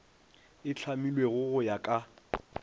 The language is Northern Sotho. e hlamilwego go ya ka